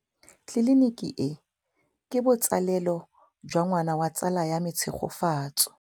Tleliniki e, ke botsalêlô jwa ngwana wa tsala ya me Tshegofatso.